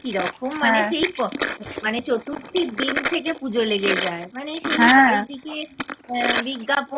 কিরকম মানে সেই মানে চতুর্থী দিন থেকে পুজো লেগে যায় মানে সেই এইদিকে আহ বিজ্ঞাপন